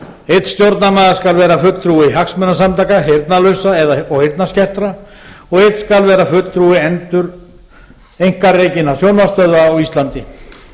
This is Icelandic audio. einn stjórnarmaður skal vera fulltrúi hagsmunasamtaka heyrnarlausra og heyrnarskertra og einn skal vera fulltrúi einkarekinna sjónvarpsstöðva á íslandi